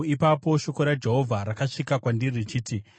Ipapo shoko raJehovha rakasvika kwandiri richiti,